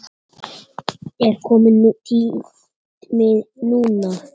Er kominn tími núna?